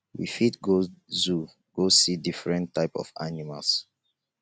we fit go zoo go see different types of animals